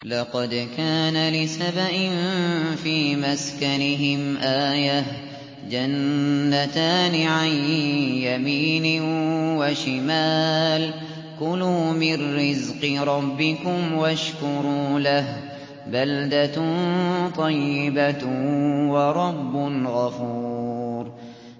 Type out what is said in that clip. لَقَدْ كَانَ لِسَبَإٍ فِي مَسْكَنِهِمْ آيَةٌ ۖ جَنَّتَانِ عَن يَمِينٍ وَشِمَالٍ ۖ كُلُوا مِن رِّزْقِ رَبِّكُمْ وَاشْكُرُوا لَهُ ۚ بَلْدَةٌ طَيِّبَةٌ وَرَبٌّ غَفُورٌ